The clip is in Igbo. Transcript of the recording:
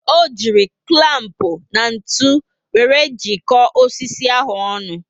O ji culamp na ntụ wéré jiko osisi ahụ ọnụ